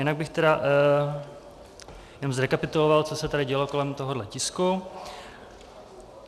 Jinak bych tedy jenom zrekapituloval, co se tady dělo kolem tohoto tisku.